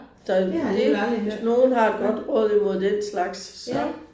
Så det hvis nogen har et godt råd imod den slags så